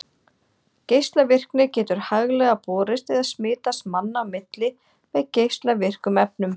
Geislavirkni getur hæglega borist eða smitast manna á milli með geislavirkum efnum.